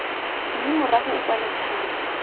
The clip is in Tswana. mme morago o kwale tlhamo